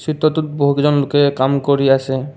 চিত্ৰটোত বহু কেইজন লোকে কাম কৰি আছে।